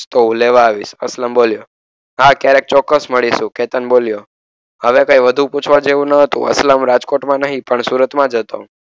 તો હું લેવા આવીશ અસલમ બોલ્યો. હા ક્યારેક ચોક્કસ મળીશું કેતન બોલ્યો. હવે કંઈ વધુ પૂછવા જેવું ન હતું અસલમ રાજકોટમાં નહીં પણ સુરતમાં જ હતો.